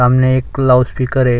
सामने एक लाउडस्पीकर है।